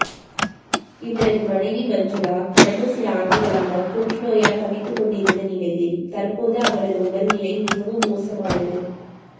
இவரது மனைவி மஞ்சுளா கடந்த சில ஆண்டுகளாக புற்றுநோயால் தவித்துக் கொண்டிருந்த நிலையில் தற்போது அவரது உடல்நிலை மிகவும் மோசமானது